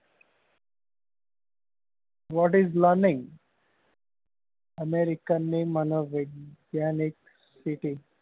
What is learning american ની મનોવૈજ્ઞાનિક city